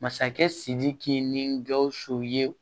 Masakɛ sidiki ni gausu ye